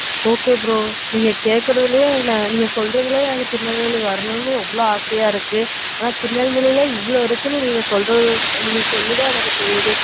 okay bro நீங்க கேட்குறதுலே நீங்க சொல்றதுலே திருநெல்வேலி வரணும் ரொம்ப ஆசையா இருக்கு. ஆனா திருநெல்வேலில இவ்வளோ இருக்குனு நீங்க சொல்றதுல நீங்க சொல்லி தான் எனக்கு தெரியுது.